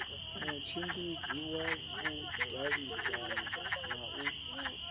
mutshimbidzi wa vhudavhidzani na u